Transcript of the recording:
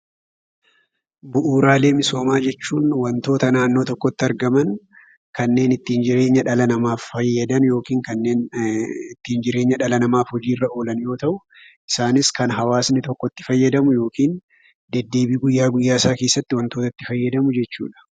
Bu'uuraalee misoomaa jechuun waantoota naannoo tokkotti argamaan kannen ittin jireenya dhala nama faayadan yookiin kannen ittin jireenyaa dhala namaaf hojii irra olaaan yeroo ta'u, isaanis kan hawaasni tokko itti faayadamuu yookiin deddebi guyya guyyaa isaa keessatti waantoota itti faayadamuu jechuudha.